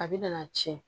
A bɛ na tiɲɛ